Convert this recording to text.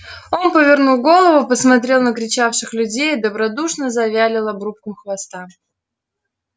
он повернул голову посмотрел на кричавших людей и добродушно завилял обрубком хвоста